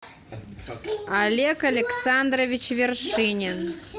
олег александрович вершинин